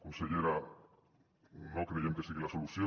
consellera no creiem que sigui la solució